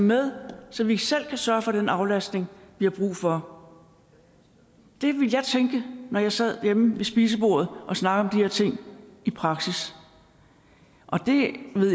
med så vi selv kan sørge for den aflastning vi har brug for det ville jeg tænke når jeg sad derhjemme ved spisebordet og snakkede her ting i praksis og